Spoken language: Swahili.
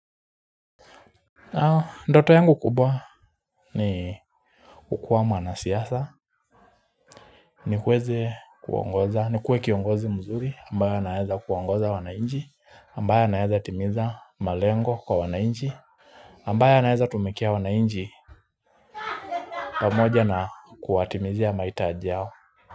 Ndoto yangu kubwa ni kukuwa mwana siasa ni kuweze kuongoza nikuwe kiongozi mzuri ambaye naeza kuongoza wana nchi ambaye naeza timiza malengo kwa wananchi ambaye anaeza tumikia wananchi pamoja na kuwatimizia mahitaji yao.